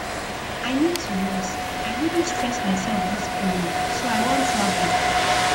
i need to rest i really stress myself dis period so i wan travel